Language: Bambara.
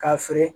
K'a feere